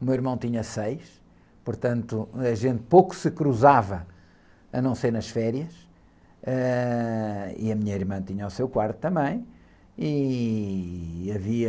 o meu irmão tinha seis, portanto a gente pouco se cruzava, a não ser nas férias, ãh, e a minha irmã tinha o seu quarto também, e havia...